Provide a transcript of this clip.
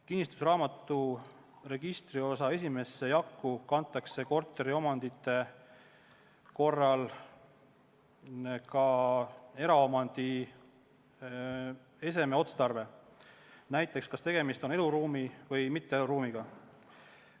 Kinnistusraamatu registriosa esimesse jakku kantakse korteriomandi korral ka eraomandi eseme otstarve, näiteks kas tegemist on eluruumi või mitteeluruumiga.